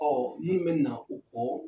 min bɛ na o kɔ.